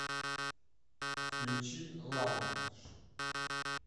включи лаундж